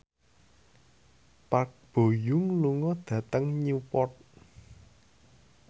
Park Bo Yung lunga dhateng Newport